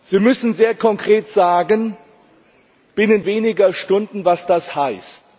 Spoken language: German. Sie müssen sehr konkret sagen binnen weniger Stunden was das heißt.